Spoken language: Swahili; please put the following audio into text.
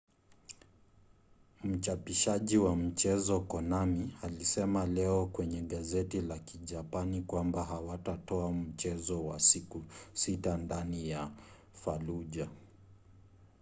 mchapishaji wa michezo konami alisema leo kwenye gazeti la kijapani kwamba hawatatoa mchezo wa siku sita ndani ya fallujah